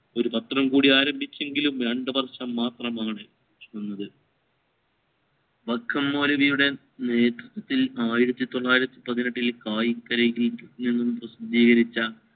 ഒരു പത്രം കൂടി ആരംഭിച്ചിനെങ്കിലും വേണ്ടവർ മാത്രമാണ് വന്നത് വൈക്കം മൗലവിയുടെ നേതൃത്വത്തിൽ ആയിരത്തി തൊള്ളായിരത്തി പതിനെട്ടിൽ എന്നും പ്രസിദ്ധീകരിച്ച